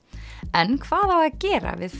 en hvað á að gera við